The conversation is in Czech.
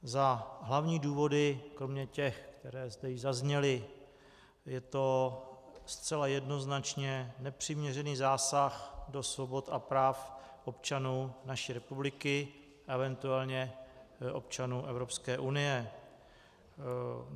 Za hlavní důvody kromě těch, které zde již zazněly - je to zcela jednoznačně nepřiměřený zásah do svobod a práv občanů naší republiky, eventuálně občanů Evropské unie.